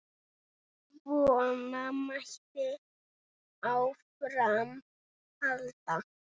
Svona mætti áfram halda.